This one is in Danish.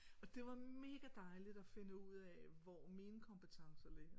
Og det var mega dejligt at finde ud af hvor mine kompetencer ligger